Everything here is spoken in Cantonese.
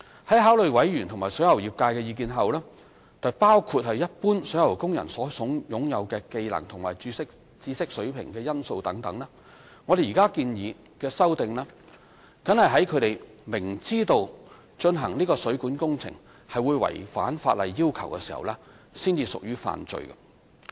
在考慮委員和水喉業界的意見，包括一般水喉工人所擁有的技能和知識水平等因素後，我們現建議修訂為，僅在他們明知進行該水管工程會違反法例要求時才屬犯罪。